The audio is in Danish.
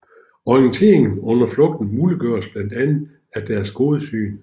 Orienteringen under flugten muliggøres blandt andet af deres gode syn